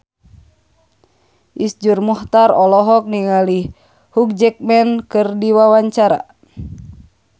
Iszur Muchtar olohok ningali Hugh Jackman keur diwawancara